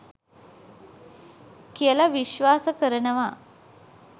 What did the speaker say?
කියල විශ්වාස කරනවා.